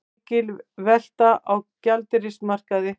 Mikil velta á gjaldeyrismarkaði